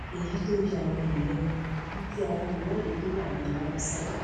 èyí tó ya àwọn èèyàn lẹnu ni ti àwọn olùwọde tó wà ní aláùsá